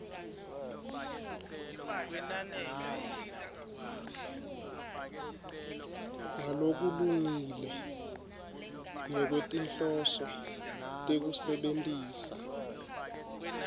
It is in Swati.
ngalokulungile ngekwetinhloso tekusebentisa